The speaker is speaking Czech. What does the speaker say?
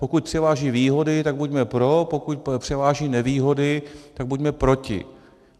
Pokud převáží výhody, tak buďme pro, pokud převáží nevýhody, tak buďme proti.